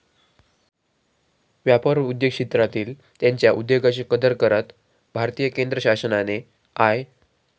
व्यापार व उद्योग क्षेत्रांतील त्यांच्या उद्योगाशी कदर करत भारतीय केंद्रशासनाने आय.